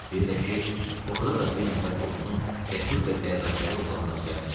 Bir də ki, orada da bir nəfər də olsun cəsur və dərrakəli oğlan rast gəlmədi.